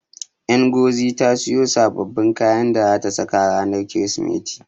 Ngozi ta siyo sababbin kayan da zata saka ranar Kirsimeti.